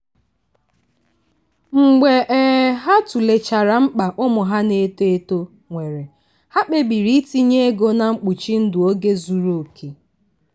mgbe um ha tụlechara mkpa ụmụ ha na-eto eto nwere ha kpebiri itinye ego na mkpuchi ndụ oge zuru oke.